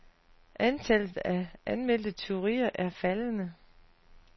Antallet af anmeldte tyverier er faldende.